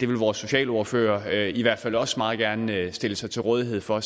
vores socialordfører i hvert fald også meget gerne vil stille sig til rådighed for